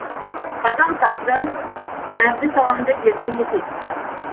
қатал тағдыр әбдісаланды ерте есейтіпті